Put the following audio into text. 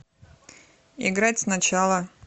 играть сначала